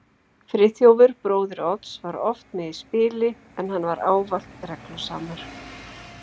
Friðþjófur bróðir Odds var oft með í spili, en hann var ávallt reglusamur.